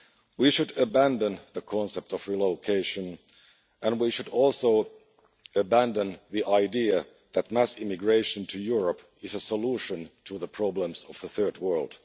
We should abandon the concept of relocation and we should also abandon the idea that mass immigration to Europe is a solution to the problems of the Third World.